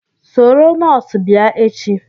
Soro nọọsụ bia echi